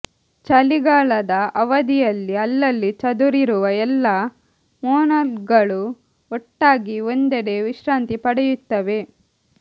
ಚಳಿಗಾಲದ ಅವಧಿಯಲ್ಲಿ ಅಲ್ಲಲ್ಲಿ ಚದುರಿರುವ ಎಲ್ಲ ಮೋನಲ್ಗಳು ಒಟ್ಟಾಗಿ ಒಂದೆಡೆ ವಿಶ್ರಾಂತಿ ಪಡೆಯುತ್ತವೆ